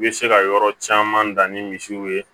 I bɛ se ka yɔrɔ caman dan ni misiw ye